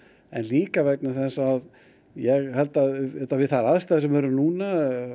en líka vegna þess að ég held að við þær aðstæður sem eru núna